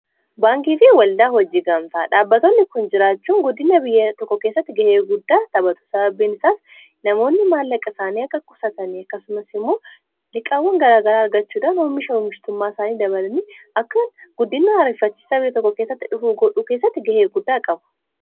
Baankii fi waldaa hojii gamtaa dhaabbattoonni kun jiraachuun guddina biyya tokko keessatti gahee guddaa taphatu sababbiin isaas namoonni maallaqa isaanii akka qusatanii akkasumas immoo liqaawwan garaagaraa argachuudhaan oomisha oomistummaa isaanii dabalani akkan guddina ariiffachisaa biyya tokko keessatti dhufu godhuu keessatti gahee guddaa qabu.